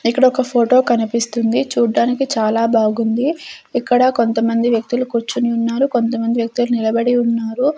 ఇక్కడ ఒక ఫోటో కనిపిస్తుంది చూడ్డానికి చాలా బాగుంది ఇక్కడ కొంతమంది వ్యక్తులు కూర్చుని ఉన్నారు కొంత మంది వ్యక్తులు నిలబడి ఉన్నారు.